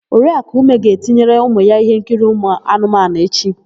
Oriakụ Ume ga-etinyere ụmụ ya íhénkiri ụmụanụmanụ echi.